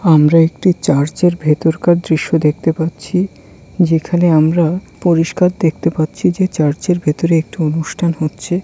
আমরা একটি চার্জের ভেতরকার দৃশ্য দেখতে পাচ্ছি যেখানে আমরা পরিষ্কার দেখতে পাচ্ছি যে চার্জের ভেতরে একঠ অনুষ্ঠান হচ্ছে|